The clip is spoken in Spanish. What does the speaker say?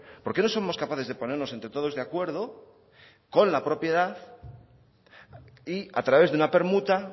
por qué no somos capaces de ponernos entre todos de acuerdo con la propiedad y a través de una permuta